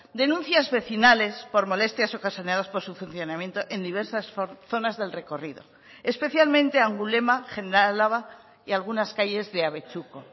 denuncias vecinales por molestias ocasionadas por su funcionamiento en diversas zonas del recorrido especialmente angulema general álava y algunas calles de abetxuko